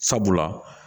Sabula